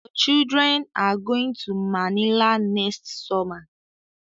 The children are going to Manila next summer